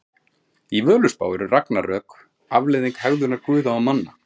Í Völuspá eru ragnarök afleiðing hegðunar guða og manna.